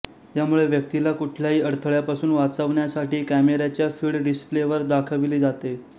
यामुळे व्यक्तीला कुठल्याही अडथळ्यापासून वाचवण्यासाठी कॅमेऱ्याच्या फीड डिस्प्लेवर दाखवली जाते